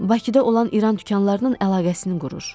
Bakıda olan İran dükanlarının əlaqəsini qurur.